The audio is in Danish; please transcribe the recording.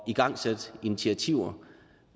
igangsætte initiativer